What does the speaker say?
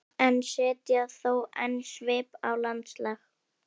en setja þó enn svip á landslag.